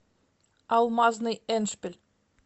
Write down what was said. алмазный эндшпиль